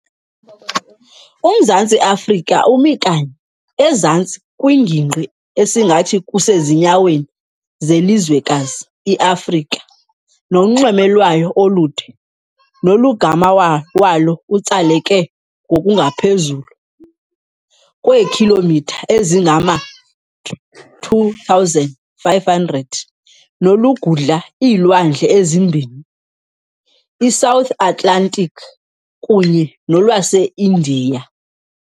Umzantsi Afrika umi kanye ezantsi kwingingqi esingathi kusezinyaweni zelizwekazi i-Afrika, nonxweme lwayo olude nolugama walo utsaleke ngokungaphezulu kweekhilomitha ezingama-2,500 nolugudla iilwandle ezimbini, i-South Atlantic kunye nolwase-India.